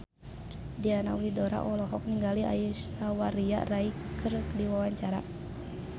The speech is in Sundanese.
Diana Widoera olohok ningali Aishwarya Rai keur diwawancara